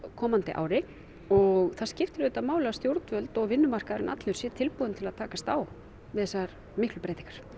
komandi ári og það skiptir auðvitað máli að stjórnvöld og vinnumarkaðurinn allur sé tilbúinn í til að takast á við þessar miklu breytingar